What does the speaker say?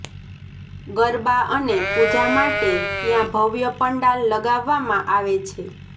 ગરબા અને પૂજા માટે ત્યાં ભવ્ય પંડાલ લગાવવામાં આવે છે